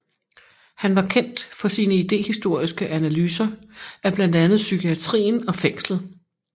Han var kendt for sine idehistoriske analyser af blandt andet psykiatrien og fængslet